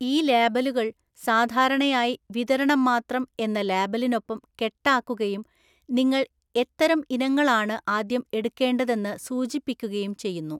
ഈ ലേബലുകൾ സാധാരണയായി 'വിതരണം മാത്രം' എന്ന ലേബലിനൊപ്പം കെട്ടാക്കുകയും നിങ്ങൾ എത്തരം ഇനങ്ങളാണ് ആദ്യം എടുക്കേണ്ടതെന്ന് സൂചിപ്പിക്കുകയും ചെയ്യുന്നു.